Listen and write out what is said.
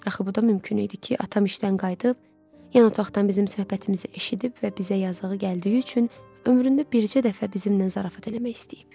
Axı bu da mümkün idi ki, atam işdən qayıdıb, yan otaqdan bizim söhbətimizi eşidib və bizə yazığı gəldiyi üçün ömründə bircə dəfə bizimlə zarafat eləmək istəyib.